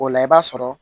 O la i b'a sɔrɔ